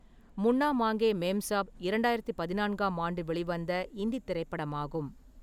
முன்னா மாங்கே மேம்சாப் இரண்டாயிரத்து பதினான்காம் ஆண்டு வெளிவந்த இந்தித் திரைப்படமாகும்.